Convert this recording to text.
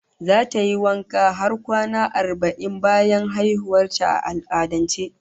Zata yi wanka har kwana arba'in bayan haihuwar ta, a al'adance